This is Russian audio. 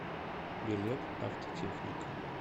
билет автотехника